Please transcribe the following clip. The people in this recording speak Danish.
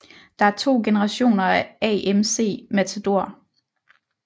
Der er 2 generationer af AMC Matador